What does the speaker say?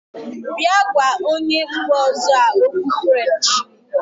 Bịa gwa onye mba ọzọ a okwu french!.